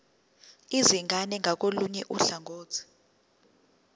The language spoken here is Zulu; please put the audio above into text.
izingane ngakolunye uhlangothi